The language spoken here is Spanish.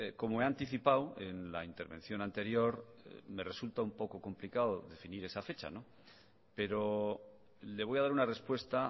como he anticipado en la intervención anterior me resulta un poco complicado definir esa fecha pero le voy a dar una respuesta